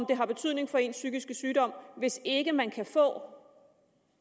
det har betydning for ens psykiske sygdom hvis ikke man kan få